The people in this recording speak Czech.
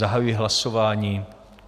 Zahajuji hlasování.